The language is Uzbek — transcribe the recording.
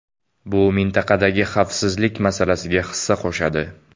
Bu mintaqadagi xavfsizlik masalasiga hissa qo‘shadi.